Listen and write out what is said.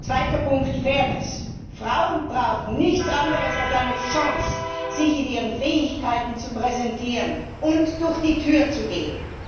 Zweiter Punkt Fairness. Frauen brauchen nichts anderes als eine Chance, sich mit ihren Fähigkeiten zu präsentieren und durch die Tür zu gehen.